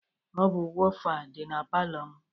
Ọ bụ wofa dị na palọ m.